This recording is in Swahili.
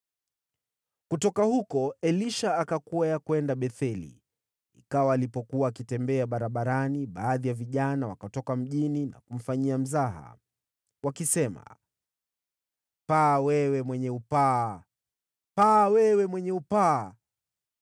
Kutoka huko Elisha akakwea kwenda Betheli. Ikawa alipokuwa akitembea barabarani, baadhi ya vijana wakatoka mjini na kumfanyia mzaha. Wakasema, “Paa, wewe mwenye upaa! Paa, wewe mwenye upaa!”